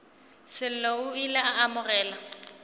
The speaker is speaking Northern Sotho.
sello o ile a amogela